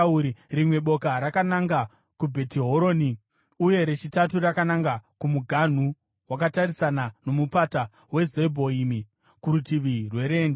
rimwe boka rakananga kuBhetihoroni, uye rechitatu rakananga kumuganhu wakatarisana noMupata weZebhoimi kurutivi rwerenje.